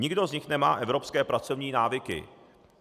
Nikdo z nich nemá evropské pracovní návyky.